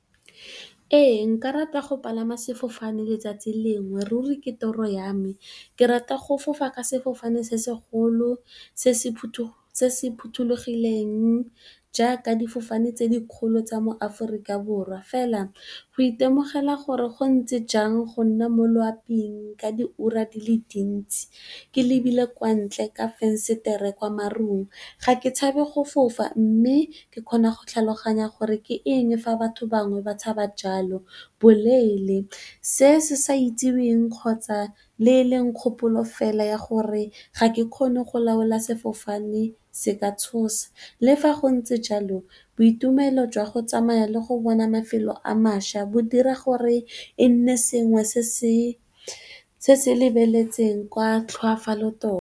Ee nka rata go palama sefofane letsatsi lengwe, ruri ke toro ya me. Ke rata go fofa ka sefofane se segolo se se phuthulogileng jaaka, difofane tse di kgolo tsa mo Aforika Borwa fela, go itemogela gore go ntse jang go nna mo loaping ka diura di le dintsi ke lebile kwa ntle ka fesetere kwa marung. Ga ke tshabe go fofa mme, ke kgona go tlhaloganya gore ke eng fa batho bangwe ba tshaba jalo, boleele. Se se sa itseweng, kgotsa le kgopolo fela ya gore ga ke kgone go laola sefofane se ka tshosa. Le fa go ntse jalo boitumelo jwa go tsamaya le go bona mafelo a maša bo dira gore e nne sengwe se se lebeletsweng ka tlhoafalo tota.